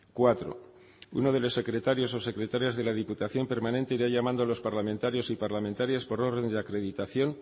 cuatro uno de los secretarios o secretarias de la diputación permanente irá llamando a los parlamentarios y parlamentarias por orden de acreditación